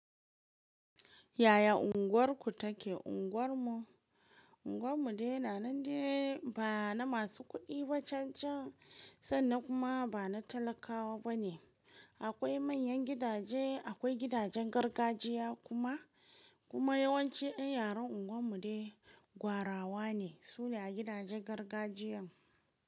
Yaya unguwarku take? Unguwar mu, unguwar mu dai na nan dai ba na masu kuɗi bacancan sannan kuma ba na talakawa bane. Akwai manyan gidaje, akwai gidajen gargajiya kuma, kuma yawanci ƴan yaren unguwar mu dai gwarawa ne, su ne gidajen gargajiyan.